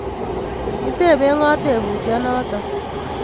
Kitepee ng'o teputyet notok?